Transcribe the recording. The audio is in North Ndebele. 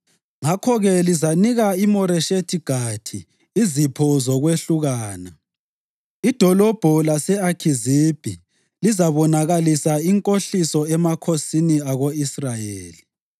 Ngakho-ke lizanika iMoreshethi Gathi izipho zokwehlukana. Idolobho lase-Akhizibhi lizabonakalisa inkohliso emakhosini ako-Israyeli.